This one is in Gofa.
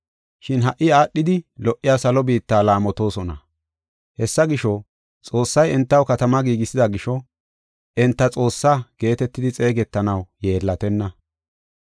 Shin ha77i aadhidi lo77iya salo biitta laamotosona. Hessa gisho, Xoossay entaw katama giigisida gisho, “Enta Xoossaa” geetetidi xeegetanaw yeellatenna.